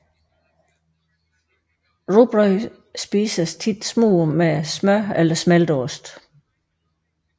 Rugbrød spises tit smurt med smør eller smelteost